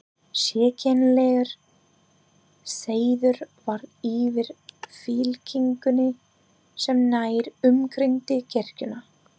Sérkennilegur seiður var yfir fylkingunni sem nær umkringdi kirkjuna.